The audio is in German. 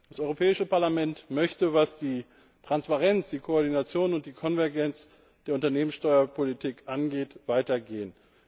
Das Europäische Parlament möchte, was die Transparenz, die Koordination und die Konvergenz der Unternehmenssteuerpolitik angeht, weiter gehen.